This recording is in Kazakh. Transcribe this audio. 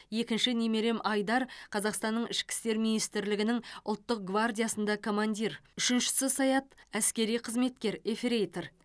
екінші немерем айдар қазақстанның ішкі істер министрлігінің ұлттық гвардиясында командир үшіншісі саят әскери қызметкер ефрейтор